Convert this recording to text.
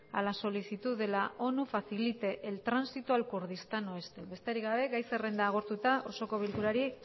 a la solicitud de la onu facilite el tránsito al kurdistán oeste besterik gabe gai zerrenda agortuta osoko bilkurari